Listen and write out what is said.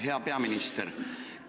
Hea peaminister!